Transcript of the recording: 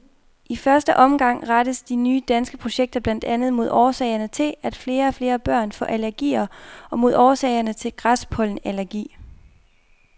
I første omgang rettes de nye danske projekter blandt andet mod årsagerne til, at flere og flere børn får allergier og mod årsagerne til græspollenallergi.